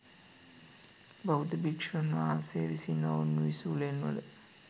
බෞද්ධ භික්‍ෂූන් වහන්සේ විසින් ඔවුන් විසූ ලෙන්වල,